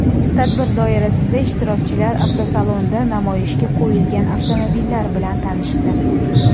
Tadbir doirasida ishtirokchilar avtosalonda namoyishga qo‘yilgan avtomobillar bilan tanishdi.